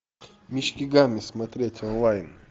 мишки гамми смотреть онлайн